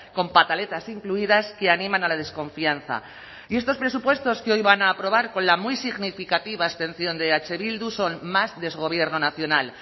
con pataletas incluidas que animan a la desconfianza y estos presupuestos que hoy van a aprobar con la muy significativa abstención de eh bildu son más desgobierno nacional